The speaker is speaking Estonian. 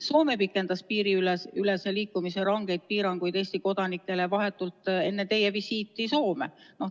Soome pikendas piiriülese liikumise rangeid piiranguid Eesti kodanikele vahetult enne teie visiiti Soome.